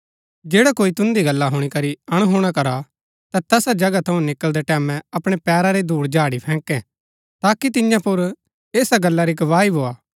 जैडा कोई तुन्दी गल्ला हुणी करी अणहुणा करा ता तैसा जगहा थऊँ निकळदै टैमैं अपणै पैरा री धुड़ झाड़ी फैकैं ताकि तियां पुर ऐसा गल्ला री गवाही भोआ